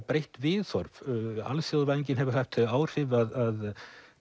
breytt viðhorf alþjóðavæðingin hefur haft þau áhrif að